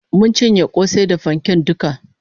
Mun cinye kosai da fanken duka